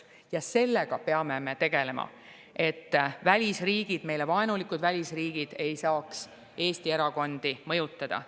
Ja sellega me peame tegelema, et välisriigid, meile vaenulikud välisriigid ei saaks Eesti erakondi mõjutada.